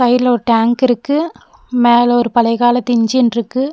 இதுல ஒரு டேங்க் இருக்கு மேல ஒரு பழைய காலத்து இன்ஜின்ருக்கு .